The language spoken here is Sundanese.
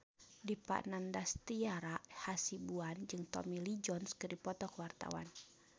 Dipa Nandastyra Hasibuan jeung Tommy Lee Jones keur dipoto ku wartawan